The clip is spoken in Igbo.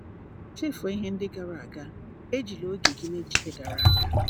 "Chefuo ihe ndị gara aga; ejila oge gị n’echiche gara aga."